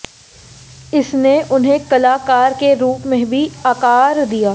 इसने उन्हें कलाकार के रूप में भी आकार दिया